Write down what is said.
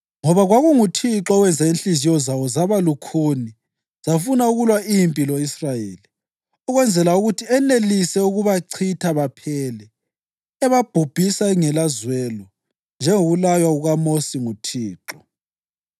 Ngoba kwakunguThixo owenza inhliziyo zawo zaba lukhuni zafuna ukulwa impi lo-Israyeli, ukwenzela ukuthi enelise ukubachitha baphele, ebabhubhisa okungelazwelo, njengokulaywa kukaMosi nguThixo.